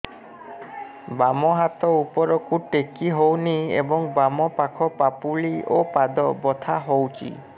ବାମ ହାତ ଉପରକୁ ଟେକି ହଉନି ଏବଂ ବାମ ପାଖ ପାପୁଲି ଓ ପାଦ ବଥା ହଉଚି